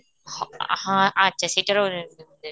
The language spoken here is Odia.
ହଁ, ଆଃ ହଁ, ଆଚ୍ଛା ସେଇଟାର rate